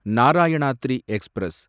Narayanadri express